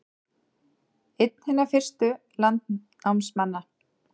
Einn hinna fyrstu landnámsmanna